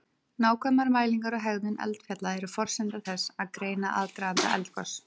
Nákvæmar mælingar á hegðun eldfjalla eru forsenda þess að greina aðdraganda eldgos.